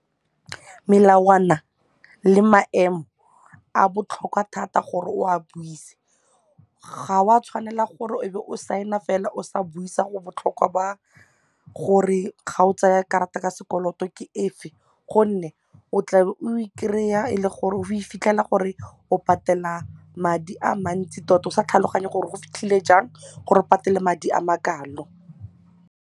Melawana le maemo a botlhokwa thata gore o a buise, ga o a tshwanela gore o be o sign-a fela o sa buisa go botlhokwa ba gore ga o tsaya karata ya sekoloto ke e fe gonne o tlabe o kry-a e le gore o fitlhela gore o patela madi a mantsi tota o sa tlhaloganye gore go fitlhile jang gore o patele madi a makalo.